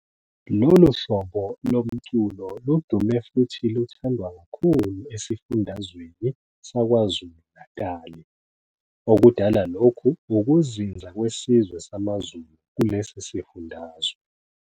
Lo lu hhlobo lomculo ludume futhi luthandwa kakhulu esifundazweni saKwaZulu Natali okudala lokhu ukuzinza kwesizwe samaZulu kulesi sifundazwe.